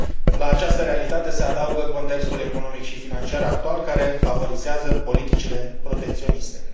La această realitate se adaugă contextul economic și financiar actual care favorizează politicile protecționiste.